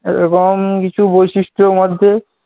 এরকম কিছু বৈশিষ্ট্যের মধ্যে